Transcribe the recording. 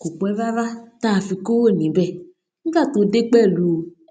kò pé rárá tá a fi kúrò níbè nígbà tó dé pèlú